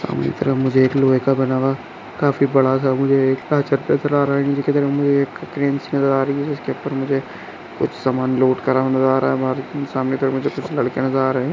मुझे एक लोहे का बना हुआ काफी बड़ा सा मुझे एक क्रेन सी नजर आ रहीं है जिसके ऊपर मुझे कुछ समान लोड करा हुआ जा रहा है सामने के तरह मुझे कुछ लड़के नजर आ रहे है।